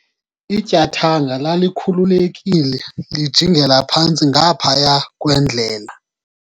ityathanga lalikhululekile lijingela phantsi ngaphaya kwendlela